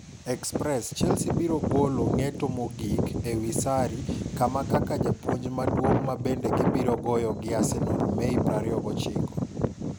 (Express) Chelsea biro golo ng'eto mogik ewi Sarri kama kaka japuonj maduong' ma bende gi biro go gi Arsenal Mei 29.